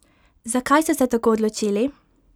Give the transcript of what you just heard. Zakaj so se tako odločili?